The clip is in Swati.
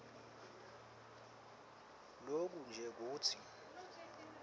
loku nje kutsi